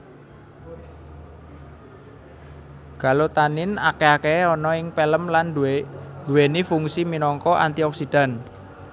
Galotanin akeh akahe ana ing pelem lan duweni fungsi minangka antioksidan